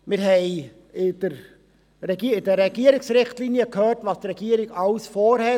Wir haben in den Regierungsrichtlinien gehört, was die Regierung alles vorhat.